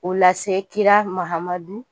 O lase kira Mahamadu